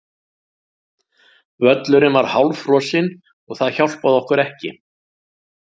Völlurinn var hálffrosinn og það hjálpaði okkur ekki.